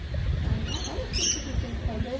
Então, olha tudo que a gente tem que fazer.